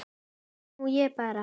Nú ég bara.